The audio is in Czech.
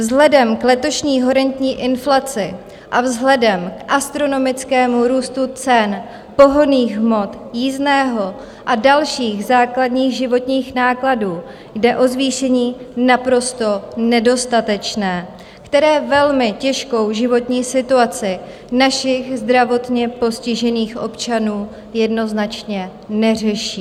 Vzhledem k letošní horentní inflaci a vzhledem k astronomickému růstu cen pohonných hmot, jízdného a dalších základních životních nákladů jde o zvýšení naprosto nedostatečné, které velmi těžkou životní situaci našich zdravotně postižených občanů jednoznačně neřeší.